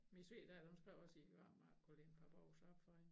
Min svigerdatter hun skrev også om ikke jeg kunne lægge et par bukser op for hende